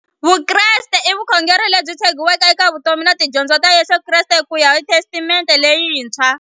Vukreste i vukhongeri lebyi tshegiweke eka vutomi na tidyondzo ta Yesu Kreste kuya hi Testamente leyintshwa.